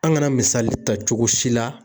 An kana misali ta cogo si la.